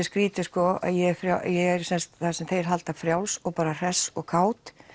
skrítið sko að ég er það sem þeir halda frjáls og bara hress og kát